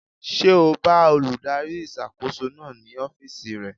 Ṣé o bá olùdarí ìṣàkóso náà ní ọ́fìsì rẹ̀?